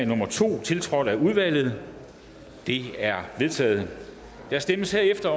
nummer to tiltrådt af udvalget det er vedtaget der stemmes herefter